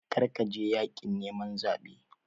Kar ka je yaƙin neman zaɓen!